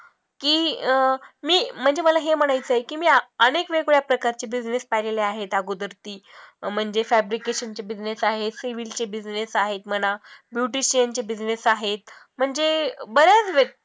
की अं मी म्हणजे मला हे पण म्हणायचं की मी अनेक वेळवेगळ्या प्रकारचे business पाहिलेले आहेत अगोदर की म्हणजे fabrications चे business आहेत sewing चे business आहेत म्हणा, beauticians चे business आहेत म्हणजे बऱ्याच